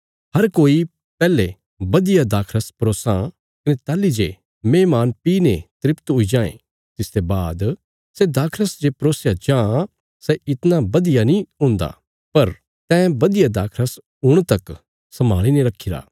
हर कोई पैहले बधिया दाखरस परोसां कने ताहली जे मेहमान पी ने तृप्त हुई जांये तिसते बाद सै दाखरस जे परोसया जां सै इतणा बधिया नीं हुन्दा पर तैं बधिया दाखरस हुण तक संभाली ने रखीरा